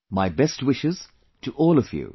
My best wishes to all of you